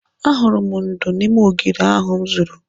Ahụrụ m ndú n'ime ogiri ahụ m zụrụ.